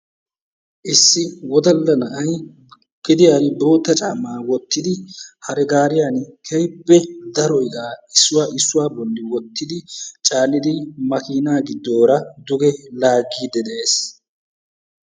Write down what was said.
Issi woddalla na'ay geediyan boottaa caammaa wottidi hare gaariyan keehippe daro iqqaa issuwa issuwa bolli wottidi caanidi makkiina giddooraa duge laaggiidi de'ees.